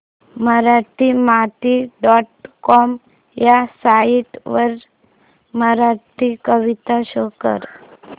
Marathimati dot com ह्या site वरील मराठी कविता शो कर